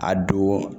A don